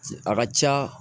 A ka ca